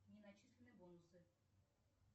не начислены бонусы